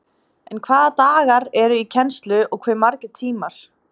En hvaða dagar eru í kennslu og hve margir tímar?